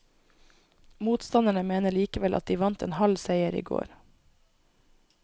Motstanderne mener likevel at de vant en halv seier i går.